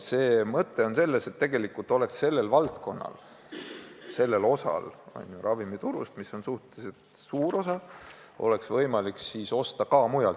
Mõte on selles, et tegelikult oleks sellel osal ostjaskonnast, mis moodustab ravimiturust suhteliselt suure osa, võimalik osta ka mujalt.